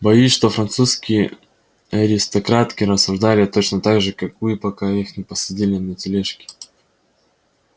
боюсь что французские аристократки рассуждали точно так же как вы пока их не посадили на тележки